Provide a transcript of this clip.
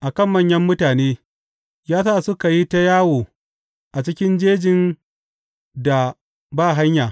a kan manyan mutane ya sa suka yi ta yawo a cikin jejin da ba hanya.